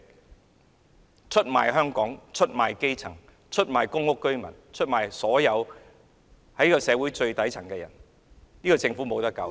她出賣香港、基層市民、公屋居民，以及所有處於社會最底層的人。